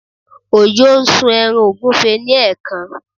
Ojo sun ẹran ọ̀gúfe ni ẹ̀ẹ̀kan